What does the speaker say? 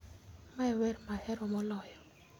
mae en wenr ma ahero moloyo